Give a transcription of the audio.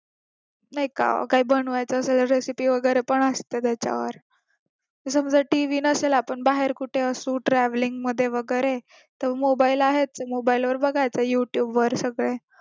नाय का काही बनवायचं असेल recipe वगैरे पण असतं त्याच्यात समजा TV नसला पण बाहेर कुठे असू traveling मध्ये वगैरे तर mobile आहेच mobile मध्ये बघा youtube वर सगळे